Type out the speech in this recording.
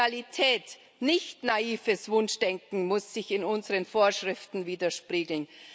Realität, nicht naives Wunschdenken, muss sich in unseren Vorschriften widerspiegeln.